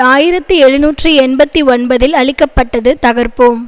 ஆயிரத்தி எழுநூற்றி எண்பத்தி ஒன்பதில் அழிக்க பட்டது தகர்ப்போம்